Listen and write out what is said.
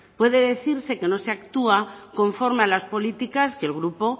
puede decirse que no se actúa conforme a las políticas que el grupo